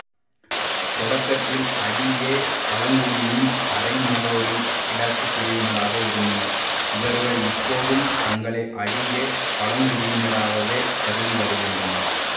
தொடக்கத்தில் அடிகே பழங்குடியின் அரைநாடோடிக் கிழக்கு பிரிவினராக இருந்தனர் இவர்கள் இப்போதும் தங்களை அடிகே பழங்குடியினராகவே கருதிவருகின்றனர்